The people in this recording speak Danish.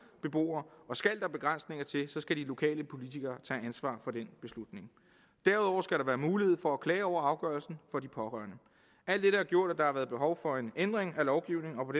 beboere og skal der begrænsninger til så skal de lokale politikere tage ansvar for den beslutning derudover skal være mulighed for at klage over afgørelsen alt dette har gjort at der har været behov for en ændring af lovgivningen og